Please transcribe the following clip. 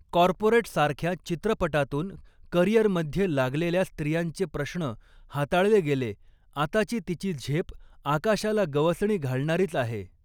corporate' सारख्या चित्रपटातून करिअरमध्ये लागलेल्या स्त्रियांचे प्रश्न हाताळले गेले आताची तिची झेप आकाशाला गवसणि घालणारीच आहे